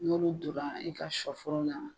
N'olu dora i ka sɔ foro la